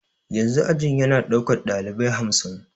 Yanzu ajin ya na daukar dalibai hamsin.